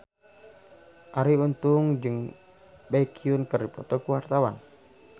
Arie Untung jeung Baekhyun keur dipoto ku wartawan